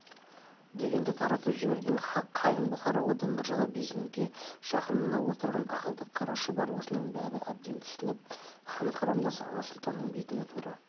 дегенді таратып жіберген қалың бұқара одан біржола безінуге жақын мына отырған ақылды қара шұбар осының бәрін әбден түсініп хан тұқымдас аға сұлтанның бетіне тура